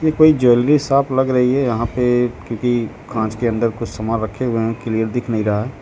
ये कोई jewellery shop लग रही है यहां पे क्योंकि कांच के अंदर कुछ सामान रखे हुए हैं क्लियर दिख नहीं रहा है।